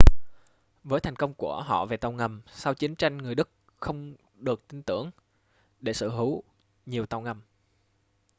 với thành công của họ về tàu ngầm sau chiến tranh người đức không được tin tưởng để sở hữu nhiều tàu ngầm